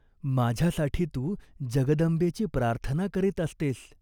माझ्यासाठी तू जगदंबेची प्रार्थना करीत असतेस.